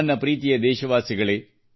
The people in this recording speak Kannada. ನನ್ನ ಪ್ರೀತಿಯ ದೇಶವಾಸಿಗಳೇ